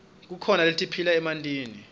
kukhona letiphila emantini